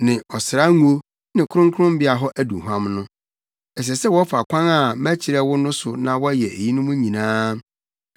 ne ɔsra ngo ne Kronkronbea hɔ aduhuam no. “Ɛsɛ sɛ wɔfa kwan a mɛkyerɛ wo no so na wɔyɛ eyinom nyinaa.”